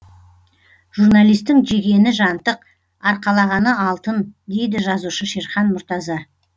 журналистің жегені жантық арқалағаны алтын дейді жазушы шерхан мұртаза